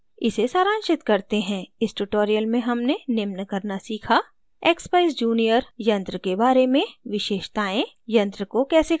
इसे सारांशित करते हैं इस tutorial में हमने निम्न करना सीखा: